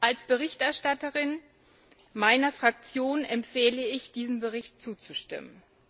Als Berichterstatterin meiner Fraktion empfehle ich, diesem Bericht zuzustimmen.